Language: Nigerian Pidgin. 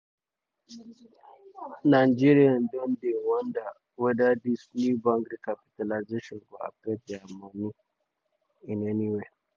nigerian don dey um wonder weda dis new bank recapitalisation go affect dia moni in um any way.